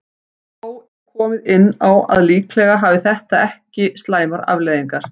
Þó er komið inn á að líklega hafi þetta ekki slæmar afleiðingar.